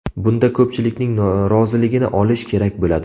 Bunda ko‘pchilikning roziligini olish kerak bo‘ladi.